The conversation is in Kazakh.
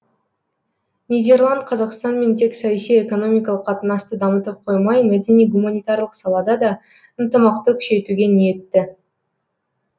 нидерланд қазақстанмен тек саяси экономикалық қатынасты дамытып қоймай мәдени гуманитарлық салада да ынтымақты күшейтуге ниетті